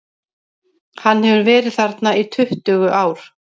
Hann hefur verið þarna í tuttugu ár.